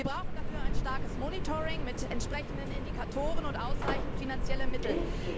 Wir brauchen dafür ein starkes Monitoring mit entsprechenden Indikatoren und ausreichend finanzielle Mittel.